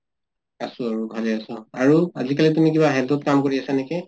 আছো আৰু ভালে আছো। আৰু আজি কালি তুমি কিবা health ত কাম কৰি আছা নেকি?